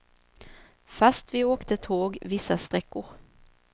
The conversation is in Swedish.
Fast vi åkte tåg vissa sträckor.